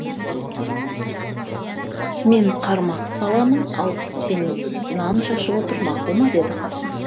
мен қармақ саламын ал сен нан шашып отыр мақұл ма деді қасым